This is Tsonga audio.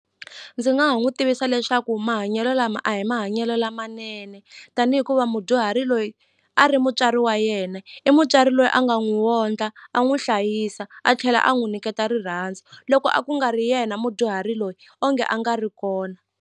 Ndzi nga ha n'wi tivisa leswaku mahanyelo lama a hi mahanyelo lamanene tani hikuva mudyuhari loyi a ri mutswari wa yena i mutswari loyi a nga n'wi wondla a n'wi hlayisa a tlhela a n'wi niketa rirhandzu loko a ku nga ri yena mudyuhari loyi onge a nga ri kona.